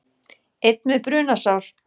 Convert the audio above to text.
Einn með brunasár